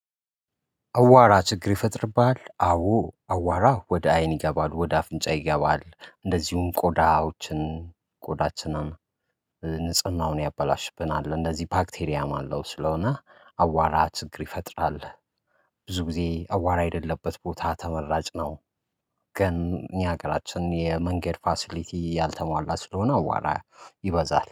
አቧራ ችግር ይፈጥርብሃል። አዎ አቧራ ወደ አይን ይገባል ወደ አፍንጫ ይገባል። እንደዚሁም ቆዳዎችን ቆዳችንን ንጽህናውን ያበላሽብናል እንደዚህ ባክቴሪያም አለው። ስለሆነ አቧራ ችግር ይፈጥራል። ብዙ ጊዜ አቧራ የለለበት ቦታ ተመራጭ ነው። ግን የኛ ሀገራችን የመንገድ ፋሲሊቲ ያልተሟላ ስለሆነ አቧራ ይበዛል